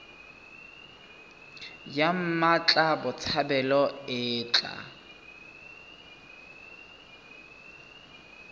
ya mmatla botshabelo e tla